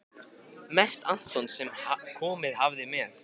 Mest Anton sem komið hafði með